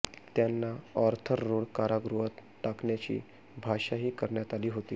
त्यांना Arthur Road कारागृहात टाकण्याची भाषाही करण्यात आली होती